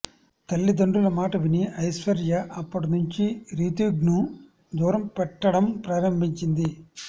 తల్లిదండ్రుల మాట విని ఐశ్వర్య అప్పటి నుంచి రితీష్ను దూరం పెట్టడం ప్రారంభించింది